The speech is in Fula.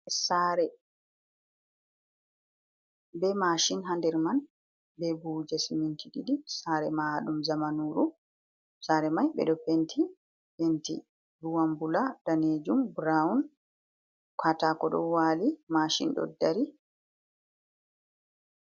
Sare be mashin ha nder man be buhuje siminti ɗiɗi, sare mahaɗum zamanuru sare mai ɓeɗo penti, penti ruwambula, danejum, brown, catako ɗo wali mashin ɗo dari.